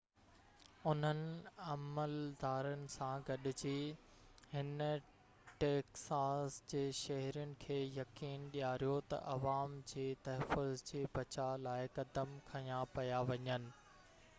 انهن عملدارن سان گڏجي هن ٽيڪساس جي شهرين کي يقين ڏياريو ته عوام جي تحفظ جي بچاءُ لاءِ قدم کنيا پيا وڃن